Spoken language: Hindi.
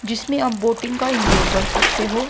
जिसमें आप बोटिंग का इंज्वॉय कर सकते हो।